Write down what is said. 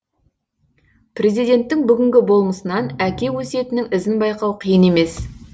президенттің бүгінгі болмысынан әке өсиетінің ізін байқау қиын емес